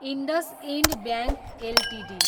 IndusInd bank Ltd